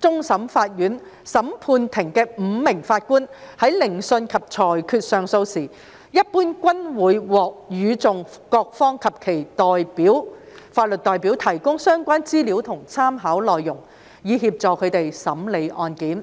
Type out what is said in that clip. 終審法院審判庭的5名法官在聆訊及裁決上訴時，一般均會獲與訟各方及其法律代表提供相關資料和參考內容，以協助他們審理案件。